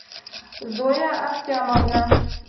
зоя ахтямовна